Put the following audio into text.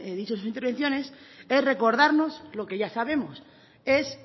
dicho en sus intervenciones es recordarnos lo que ya sabemos es